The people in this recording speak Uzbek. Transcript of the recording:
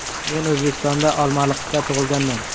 Men O‘zbekistonda, Olmaliqda tug‘ilganman.